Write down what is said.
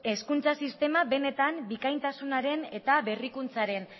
hezkuntza sistema benetan bikaintasunaren eta berrikuntzaren